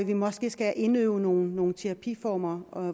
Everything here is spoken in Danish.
vi måske skal indøve nogle terapiformer og